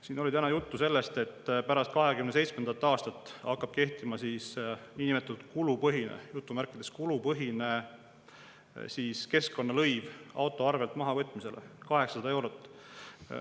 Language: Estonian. Siin oli täna juttu sellest, et pärast 2027. aastat hakkab kehtima niinimetatud kulupõhine – "kulupõhine" – keskkonnalõiv auto arvelt maha võtmisele, 800 eurot.